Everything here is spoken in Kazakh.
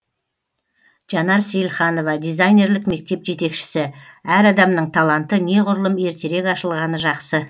жанар сейілханова дизайнерлік мектеп жетекшісі әр адамның таланты неғұрлым ертерек ашылғаны жақсы